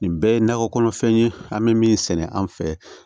Nin bɛɛ ye nakɔ kɔnɔfɛn ye an bɛ min sɛnɛ an fɛ